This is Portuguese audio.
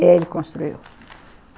E aí ele construiu.